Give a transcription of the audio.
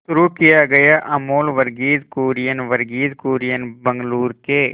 शुरू किया अमूल वर्गीज कुरियन वर्गीज कुरियन बंगलूरू के